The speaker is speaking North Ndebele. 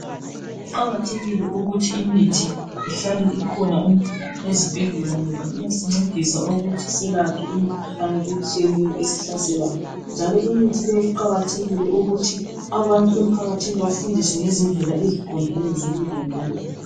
Kuqakathekile ukuthi imithi ihlale ikhona ezibhedlela ngoba iyasincedisa ukuthi selaphe imikhuhlane etshiyeneyo esisaselayo njalo imithi le kuqakathekile ukuthi abantu emphakathini bafundiswe ngezindlela eziqondileyo zokuyilondoloza.